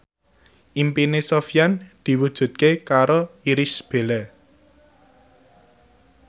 impine Sofyan diwujudke karo Irish Bella